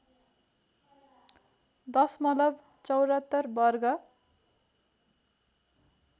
दशमलव ७४ वर्ग